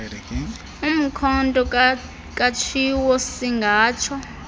umkhonto katshiwo siingatsho